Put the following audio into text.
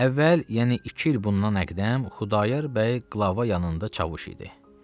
Əvvəl, yəni iki il bundan əqdəm Xudayar bəy qılava yanında çavuş idi.